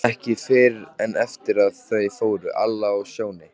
Ekki fyrr en eftir að þau fóru, Alla og Sjóni.